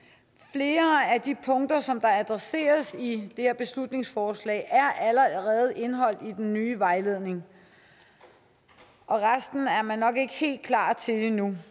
flere af de punkter som der adresseres i det her beslutningsforslag er allerede indeholdt i den nye vejledning og resten er man nok ikke helt klar til endnu